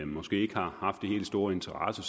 måske ikke har haft den helt store interesse i